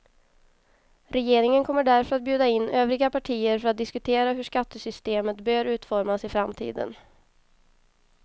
Regeringen kommer därför att bjuda in övriga partier för att diskutera hur skattesystemet bör utformas i framtiden.